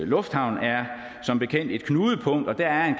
lufthavn er som bekendt et knudepunkt og der er